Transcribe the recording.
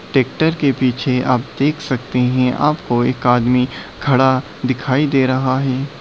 Tractor के पीछे आप देख सकते हैं आपको एक आदमी खड़ा दिखाई दे रहा है।